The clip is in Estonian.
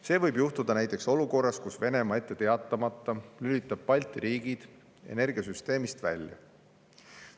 See võib juhtuda näiteks olukorras, kus Venemaa ette teatamata lülitab Balti riigid energiasüsteemist välja.